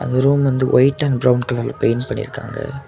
இந்த ரூம் வந்து white and brown கலர்ல பெயிண்ட் பண்ணி இருக்காங்க.